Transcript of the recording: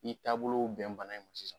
I taabolow bɛn bana in ma sisan